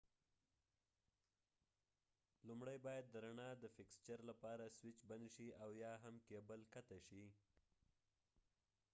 لومړۍ باید د رڼا د فیکسچرlight fixture لپاره سويچ بند شي او یا هم کېبل قطع شي